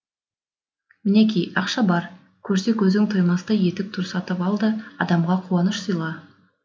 мінеки ақша бар көрсе көзің тоймастай етік тұр сатып ал да адамға қуаныш сыйла